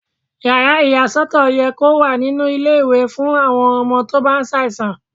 Yàrá ìyà sọ́tọ̀ yẹ kó wà nínú ilé ìwé fún àwọn ọmọ tó bá ṣàìsàn.